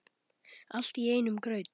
Allt í einum graut.